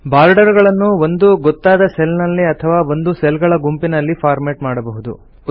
border ಗಳನ್ನು ಒಂದು ಗೊತ್ತಾದ ಸೆಲ್ ನಲ್ಲಿ ಅಥವಾ ಒಂದು ಸೆಲ್ ಗಳ ಗುಂಪಿನಲ್ಲಿ ಫಾರ್ಮೆಟ್ ಮಾಡಬಹುದು